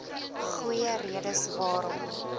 goeie redes waarom